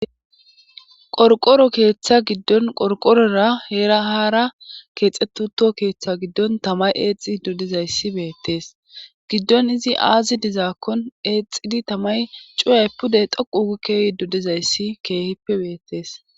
qorqoro keeththa giddon qorqorora heera haara keexetuto keeththa giddon tamay eexi doddizayssi beettees giddon izi aazi dizaakkon eexidi tamay cuyay pudey dhoqu ugikkehi doddizayssi keehippe beettees